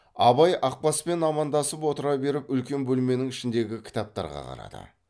абай ақбаспен амандасып отыра беріп үлкен бөлменің ішіндегі кітаптарға қарады